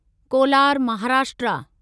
Kolar Maharashtra